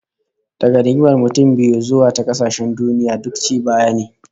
Daga rigimar mutum biyu zuwa ta kasashen duniya, duk ci baya ne